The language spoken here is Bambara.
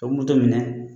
O moto minɛ